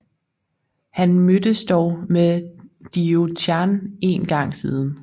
Han mødtes dog med Diao Chan en gang siden